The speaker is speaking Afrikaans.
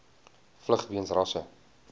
vlug weens rasse